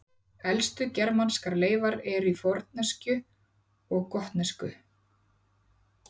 Elstu germanskar leifar eru í fornensku og gotnesku.